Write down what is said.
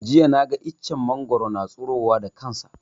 Jiya na ga iccen mangwaro na tsiro wa da kanshi